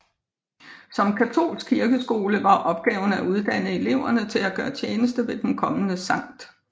Som katolsk kirkeskole var opgaven at uddanne eleverne til at gøre tjeneste ved den kommende Skt